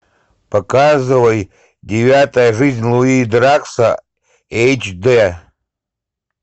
показывай девятая жизнь луи дракса эйч дэ